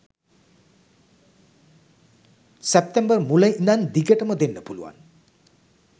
සැප්තැම්බර් මුල ඉඳන් දිගටම දෙන්න පුලුවන්.